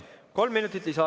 Kolm minutit lisaaega.